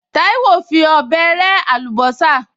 Táíwò fi ọ̀bẹ rẹ́ àlùbọ́sà